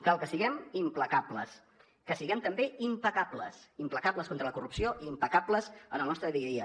cal que siguem implacables que siguem també impecables implacables contra la corrupció i impecables en el nostre dia a dia